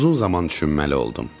Uzun zaman düşünməli oldum.